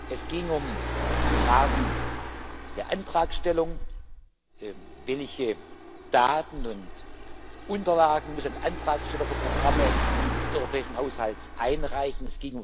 Es geht um Fragen der Antragstellung Welche Daten und Unterlagen muss ein Antragsteller für Programme des europäischen Haushalts einreichen?